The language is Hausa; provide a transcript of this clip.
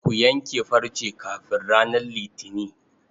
Ku yanke farce kafin ranar Litini.